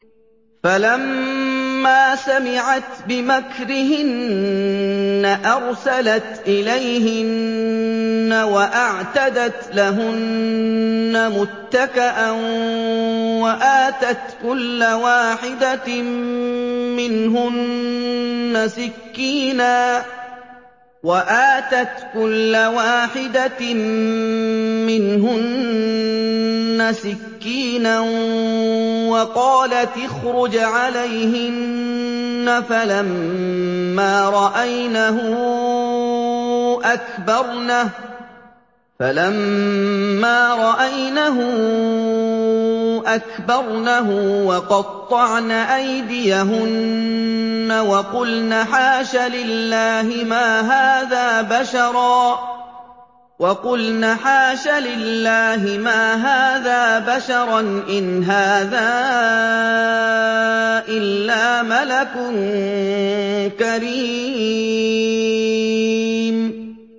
فَلَمَّا سَمِعَتْ بِمَكْرِهِنَّ أَرْسَلَتْ إِلَيْهِنَّ وَأَعْتَدَتْ لَهُنَّ مُتَّكَأً وَآتَتْ كُلَّ وَاحِدَةٍ مِّنْهُنَّ سِكِّينًا وَقَالَتِ اخْرُجْ عَلَيْهِنَّ ۖ فَلَمَّا رَأَيْنَهُ أَكْبَرْنَهُ وَقَطَّعْنَ أَيْدِيَهُنَّ وَقُلْنَ حَاشَ لِلَّهِ مَا هَٰذَا بَشَرًا إِنْ هَٰذَا إِلَّا مَلَكٌ كَرِيمٌ